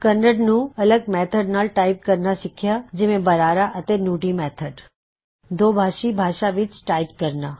ਕੱਨੜ ਨੂੰ ਅੱਲਗ ਮੇਥਡ ਨਾਲ ਟਾਇਪ ਕਰਨਾ ਸਿਖਿਆ ਜਿਵੇਂ ਬਰਾਹਾ ਅਤੇ ਨੂਡੀ ਮੈੱਥਡ ਦੁਬਾਸ਼ੀ ਭਾਸ਼ਾ ਵਿੱਚ ਟਾਇਪ ਕਰਨਾ